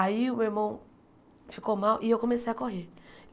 Aí o meu irmão ficou mal e eu comecei a correr.